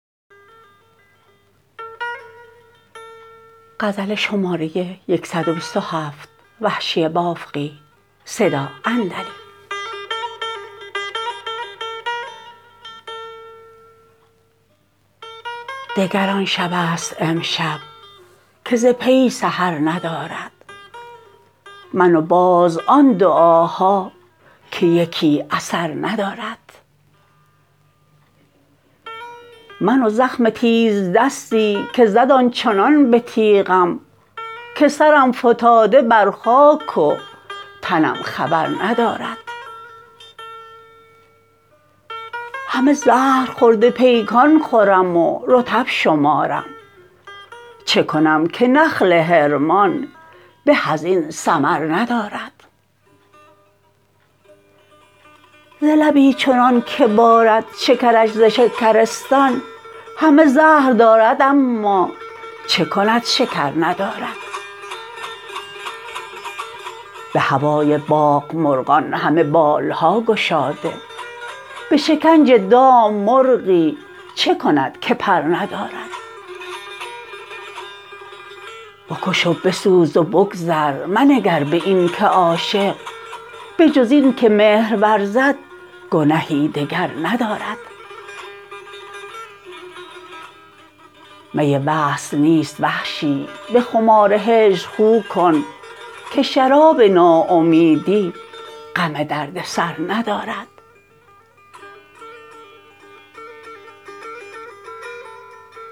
دگر آن شبست امشب که ز پی سحر ندارد من و باز آن دعاها که یکی اثر ندارد من و زخم تیزدستی که زد آنچنان به تیغم که سرم فتاده بر خاک و تنم خبر ندارد همه زهرخورده پیکان خورم و رطب شمارم چه کنم که نخل حرمان به از این ثمر ندارد ز لبی چنان که بارد شکرش ز شکرستان همه زهر دارد اما چه کند شکر ندارد به هوای باغ مرغان همه بال ها گشاده به شکنج دام مرغی چه کند که پر ندارد بکش و بسوز و بگذر منگر به این که عاشق بجز این که مهر ورزد گنهی دگر ندارد می وصل نیست وحشی به خمار هجر خو کن که شراب ناامیدی غم درد سر ندارد